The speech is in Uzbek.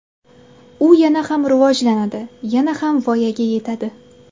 U yana ham rivojlanadi, yana ham voyaga yetadi.